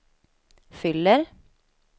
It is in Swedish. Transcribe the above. fyller